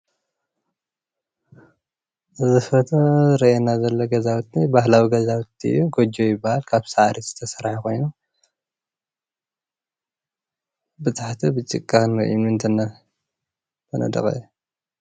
እዚ ፎቶ ዝረኣየና ዘሎ ገዛዉቲ ባህላዊ ገዛዊቲ እዩ ጎጆ ይብሃል ካብ ሳዕሪ ዝተሰርሐ ኮይኑ ብታሕቲ ብጭቃን እምኒን ዝተነደቀ እዩ።